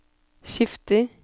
skifter